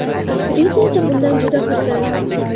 Aktrisa esa bundan juda xursand.